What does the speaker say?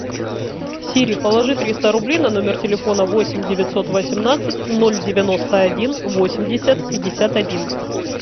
сири положи триста рублей на номер телефона восемь девятьсот восемнадцать ноль девяносто один восемьдесят пятьдесят один